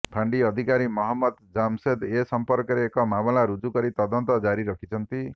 ଫାଣ୍ଡି ଅଧିକାରୀ ମହମ୍ମଦ ଜାମସେଦ ଏ ସମ୍ପର୍କରେ ଏକ ମାମଲା ରୁଜୁ କରି ତଦନ୍ତ ଜାରି ରଖିଛନ୍ତି